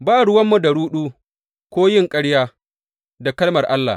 Ba ruwanmu da ruɗu, ko yin ƙarya da kalmar Allah.